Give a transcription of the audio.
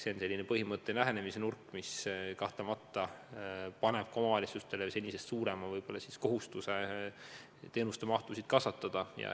See on põhimõtteline lähenemisnurk, mis kahtlemata paneb ka omavalitsustele senisest suurema kohustuse teenuste mahtusid kasvatada.